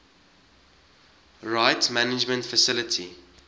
rights management facility